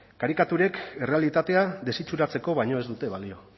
karikaturek errealitatea desitxuratzeko baino ez dute balio